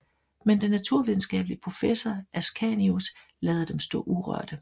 Men den naturvidenskabelige professor Ascanius lader dem stå urørte